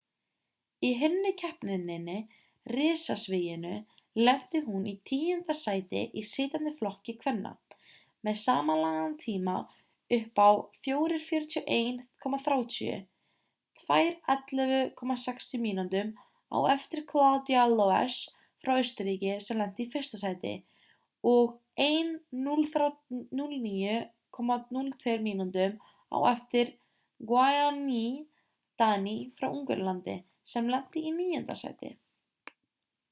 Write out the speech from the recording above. í hinni keppninni risasviginu lenti hún í tíunda sæti í sitjandi flokki kvenna með samanlagðan tíma upp á 4:41,30 2:11,60 mínútum á eftir claudia loesch frá austurríki sem lenti í fyrsta sæti og 1:09,02 mínútum á eftir gyöngyi dani frá ungverjalandi sem lenti í níunda sæti